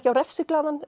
á